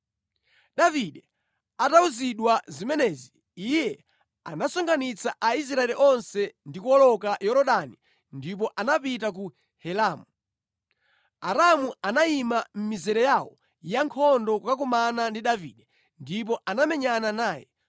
Davide atawuzidwa zimenezi, iye anasonkhanitsa Aisraeli onse ndi kuwoloka Yorodani ndipo anapita ku Helamu. Aaramu anayima mʼmizere yawo yankhondo kukakumana ndi Davide ndipo anamenyana naye.